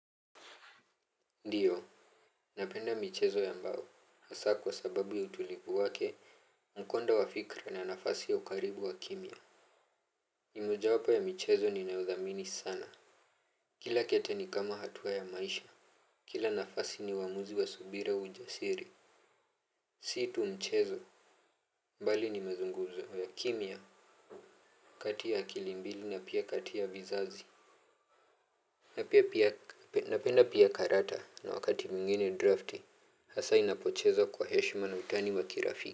Ndiyo, napenda michezo ambao, hasa kwa sababu ya utulivu wake mkondo wa fikra na nafasi ya ukaribu wa kimya. Ni mojawapo ya michezo ninayodhamini sana. Kila kete ni kama hatua ya maisha. Kila nafasi ni uamuzi wa subira ujasiri. Si tu mchezo. Bali ni mazunguzo ya kimya, kati ya akili mbili na pia kati ya vizazi. Napenda pia karata na wakati mwingine drafti, hasa inapochezwa kwa heshima na utani wa kirafiki.